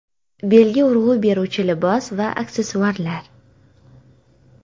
Belga urg‘u beruvchi libos va aksessuarlar.